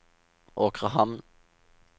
Åkrehamn